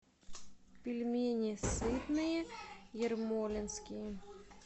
пельмени сытные ермолинские